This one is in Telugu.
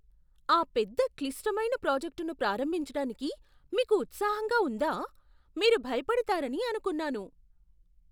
ఆ పెద్ద, క్లిష్టమైన ప్రాజెక్టును ప్రారంభించడానికి మీకు ఉత్సాహంగా ఉందా? మీరు భయపడతారని అనుకున్నాను..